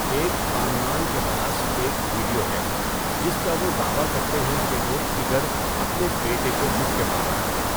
ایک خاندان کے پاس ایک ویڈیو ہے جس کا وہ دعویٰ کرتے ہیں کہ وہ 'ٹِگر' اپنے بیٹے کو مکے مار رہا ہے۔